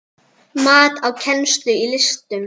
Mat á kennslu í listum